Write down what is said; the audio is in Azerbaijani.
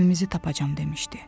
Evimizi tapacam demişdi.